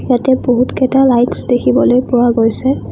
ইয়াতে বহুত কেইটা লাইটচ্ দেখিবলৈ পোৱা গৈছে।